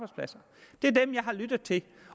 lyttet til